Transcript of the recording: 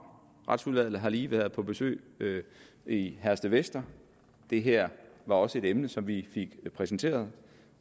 retsudvalget har lige været på besøg i herstedvester og det her var også et emne som vi fik præsenteret